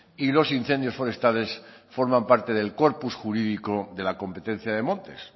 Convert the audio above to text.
y los incendios forestales forman parte del corpus jurídico de la competencia de montes